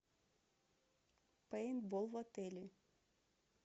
пейнтбол в отеле